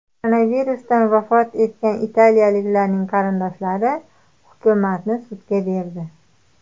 Koronavirusdan vafot etgan italiyaliklarning qarindoshlari hukumatni sudga berdi.